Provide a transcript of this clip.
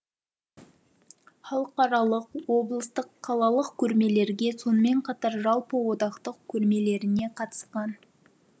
халықаралық облыстық қалалық көрмелерге сонымен қатар жалпы одақтық көрмелеріне қатысқан